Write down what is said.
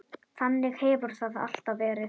Þannig hefur það alltaf verið.